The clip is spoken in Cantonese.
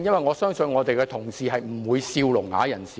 我相信建制派議員不會取笑聾啞人士。